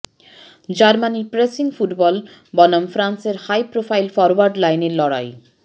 জার্মানির pressing football বনাম ফ্রান্সের হাইপ্রোফাইল ফরওয়ার্ড লাইনের লড়াই